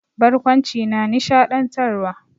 Barkwanci na nishaɗantarwa.